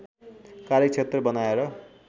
कार्यक्षेत्र बनाएर